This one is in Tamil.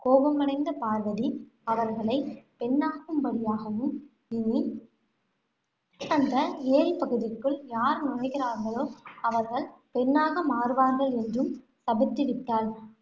கோபமடைந்த பார்வதி அவர்களைப் பெண்ணாகும்படியாகவும், இனி அந்த ஏரிப்பகுதிக்குள் யார் நுழைகிறார்களோ, அவர்கள் பெண்ணாக மாறுவார்கள் என்றும் சபித்துவிட்டாள்.